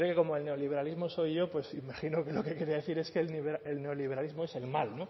como el neoliberalismo soy yo pues imagino que lo que quería decir es que el neoliberalismo es el mal